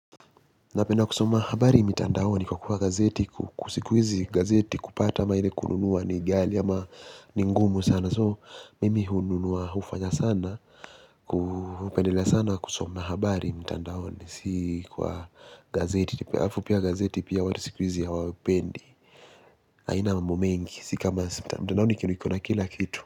Napenda kusoma habari mitandaoni kwa kuwa gazeti sikuhizi gazeti kupata ama ile kununua ni ghali ama ni ngumu sana soo mimi hununuwa hufanya sana. Kupendele sana kusuma habari mtandaoni si kwa gazeti halafu pia gazeti pia watu sikuwizi hawapendi haina mambo mengi siokama mtandaoni kuna kila kitu.